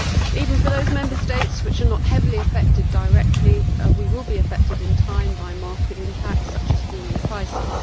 Even those Member States which are not heavily affected directly will be affected in time by market impacts such as falling prices.